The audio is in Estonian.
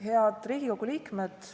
Head Riigikogu liikmed!